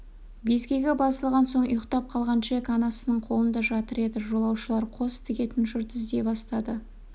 безгегі басылған соң ұйықтап қалған джек анасының қолында жатыр еді жолаушылар қос тігетін жұрт іздей бастады